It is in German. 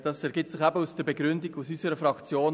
Dies ergibt sich aus der Begründung in unserer Fraktion.